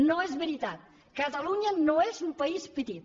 no és veritat catalunya no és un país petit